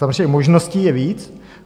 Samozřejmě možností je víc.